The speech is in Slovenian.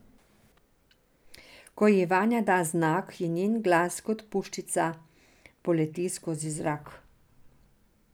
Ko ji Vanja da znak, njen glas kot puščica poleti skozi zrak.